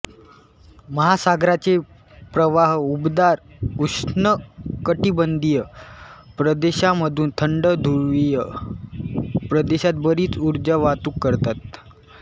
महासागराचे प्रवाह उबदार उष्णकटिबंधीय प्रदेशांमधून थंड ध्रुवीय प्रदेशात बरीच उर्जा वाहतूक करतात